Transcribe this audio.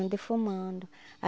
e defumando.